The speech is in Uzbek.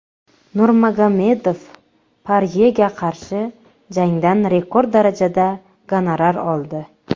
Nurmagomedov Poryega qarshi jangdan rekord darajada gonorar oldi.